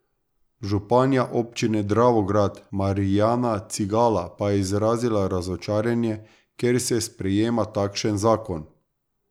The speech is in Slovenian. Županja občine Dravograd Marijana Cigala pa je izrazila razočaranje, ker se sprejema takšen zakon.